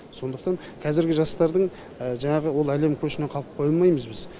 сондықтан қазіргі жастардың жаңағы ол әлем көшінен қалып қоймаймыз біз